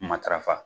Matarafa